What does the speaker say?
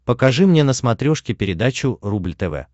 покажи мне на смотрешке передачу рубль тв